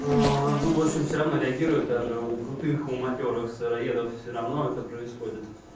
аа ну в общем все равно реагирует даже у крутых у матерых сыроедов все равно это происходит